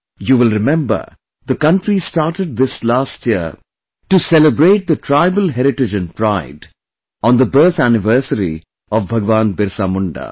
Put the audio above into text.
You will remember, the country started this last year to celebrate the tribal heritage and pride on the birth anniversary of Bhagwan Birsa Munda